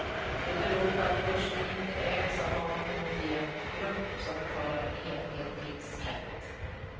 Det beror på att börsen inte ägs av någon homogen grupp som betalar enhetlig skatt.